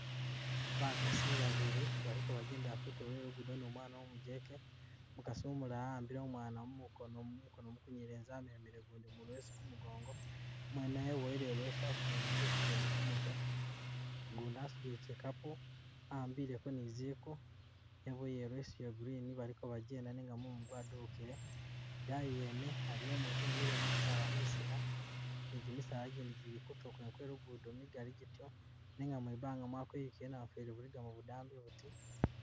Bakasi babili baliko bajendela kutulo kwe lugudo ni umwana umujeke, umukasi umulala wa'ambile umwana mu mukono mukono munyelezi amemele gundi mu leso kumugongo, mwe naye webowele ileso wasudile niziku zindi ku mutwe gundi asudile kyikapu a'ambileko ni ziku weboyele ileso iya green baliko bagenda nenga mumu gwadubukile, idaayi yene aliyo umutu emile mugusaala mwisina ni gimisala gindi gili kutulo kwene kwe lugudo migali gityo nenga mwibanga mwakwerukile bu namufeeli buligamo budambi buti.